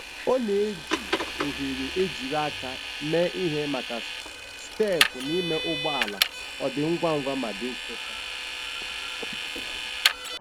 Ọ na-eji oghere ejiri aka mee ihe maka steepụ na ime ụgbọ ala - ọ dị ngwa ngwa ma dị fechaa.